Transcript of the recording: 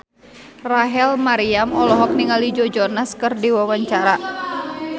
Rachel Maryam olohok ningali Joe Jonas keur diwawancara